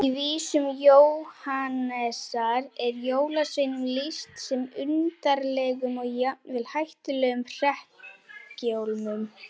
Í vísum Jóhannesar er jólasveinum lýst sem undarlegum og jafnvel hættulegum hrekkjalómum.